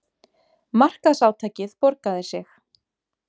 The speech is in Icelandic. Markaðsátakið borgaði sig